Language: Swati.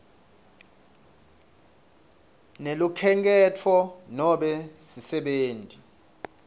nelukhenkhetfo nobe sisebenti